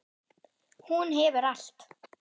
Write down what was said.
Hún hefur allt.